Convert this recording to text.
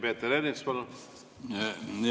Peeter Ernits, palun!